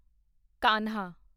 ਕਾਨ੍ਹਾਂ